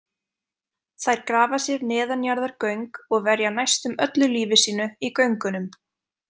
Þær grafa sér neðanjarðargöng og verja næstum öllu lífi sínu í göngunum.